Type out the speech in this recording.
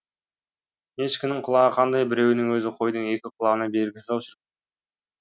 ешкінің құлағы қандай біреуінің өзі қойдың екі құлағына бергісіз ау шірк